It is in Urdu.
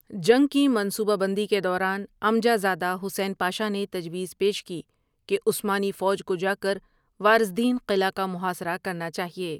جنگ کی منصوبہ بندی کے دوران ، عمجہ زادہ حسین پاشا نے تجویز پیش کی کہ عثمانی فوج کو جاکر وارظدین قلعہ کا محاصرہ کرنا چاہیے ۔